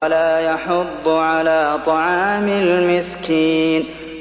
وَلَا يَحُضُّ عَلَىٰ طَعَامِ الْمِسْكِينِ